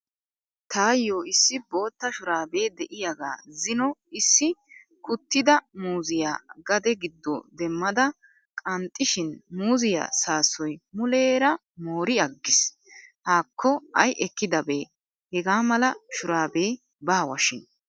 Tayyo issi bootta shuraabee de"iyaagaa zino issi kuttida muzziya gade giddo demmada qanxxishin muuzziya saasoy muleera mooriyaaggis. Haakko ay ekkidabee hegaa mala shurabee baawashin.